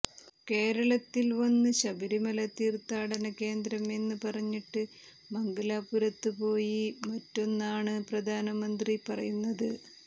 കേരളത്തിൽ വന്ന് ശബരിമല തീർത്ഥാടന കേന്ദ്രം എന്ന് പറഞ്ഞിട്ട് മംഗലാപുരത്ത് പോയി മറ്റൊന്നാണ് പ്രധാനമന്ത്രി പറയുന്നത്